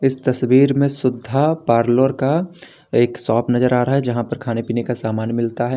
इस तस्वीर में सुधा पार्लर का एक शाप नजर आ रहा है जहां पर खाने पीने का सामन मिलता है।